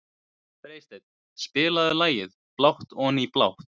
Freysteinn, spilaðu lagið „Blátt oní blátt“.